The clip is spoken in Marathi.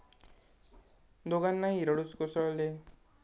दोघांनाही रडूच कोसळले.